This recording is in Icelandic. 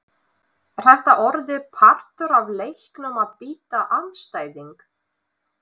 Er þetta orðið partur af leiknum að bíta andstæðing!?